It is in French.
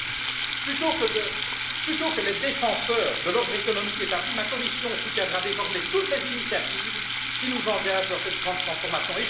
Dès lors, plutôt que les défenseurs de l'ordre économique établi, ma Commission soutiendra désormais toutes les initiatives qui nous engagent dans cette grande transformation.